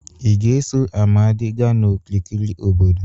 ị ga-eso Amadi gaa n'okirikiri obodo